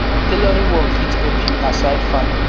tailoring work fit help you aside farming